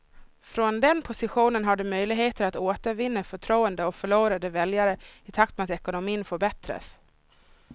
Från den positionen har de möjligheter att återvinna förtroende och förlorade väljare i takt med att ekonomin förbättras.